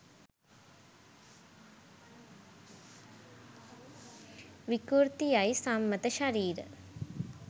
විකෘති යයි සම්මත ශරීර